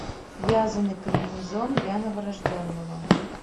вязаный комбинезон для новорожденного